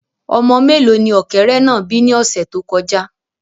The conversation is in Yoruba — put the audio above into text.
Ọmọ mélòó ni ọ̀kẹ́rẹ́ náà bí ni ọ̀sẹ̀ tó kọjá